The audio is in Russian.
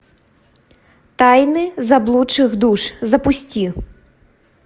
тайны заблудших душ запусти